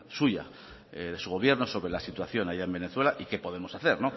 suya de su gobierno sobre la situación allá en venezuela y qué podemos hacer